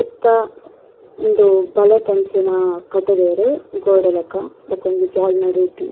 ಸುತ್ತ ಉಂದು ಬಲೆತಂಚಿನ ಕಟುದೆರ್ ಗೋಡೆ ಲಕ ಬೊಕ ಒಂಜಿ ಬಾಲ್ ನಡುಟ್.